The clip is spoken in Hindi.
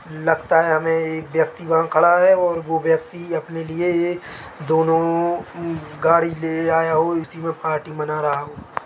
लगता है हमे एक व्यक्ती वहा खडा है और यह व्यक्ति अपने लिए दोनो गाड़ी ले आया हो उसी मै पार्टी मना रहा हो।